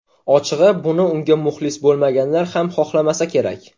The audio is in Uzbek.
Ochig‘i, buni unga muxlis bo‘lmaganlar ham xohlamasa kerak.